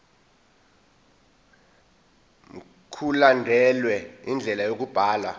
mkulandelwe indlela yokubhalwa